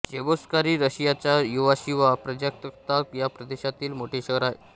Cheboksary रशियाच्या Chuvashia प्रजासत्ताक या प्रदेशातील मोठे शहर आहे